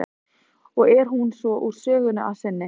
Og er hún svo úr sögunni að sinni.